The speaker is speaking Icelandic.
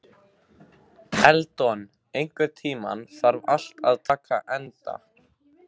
Eldon, einhvern tímann þarf allt að taka enda.